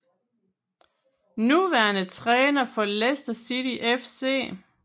Nuværende træner for Leicester City FC